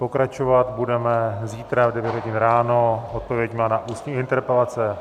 Pokračovat budeme zítra v 9.00 hodin ráno odpověďmi na ústní interpelace.